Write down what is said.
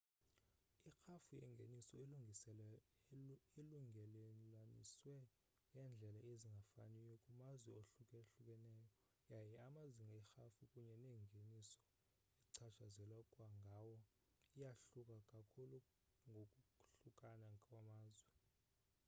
irhafu yengeniso ilungelelaniswe ngeendlela ezingafaniyo kumazwe ahlukahlukeneyo yaye amazinga erhafu kunye nengeniso echatshazelwa ngawo iyahluka kakhulu ngokwahlukana kwamazwe